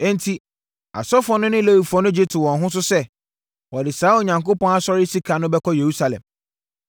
Enti, asɔfoɔ no ne Lewifoɔ no gye too wɔn ho so sɛ, wɔde saa Onyankopɔn asɔre sika no bɛkɔ Yerusalem.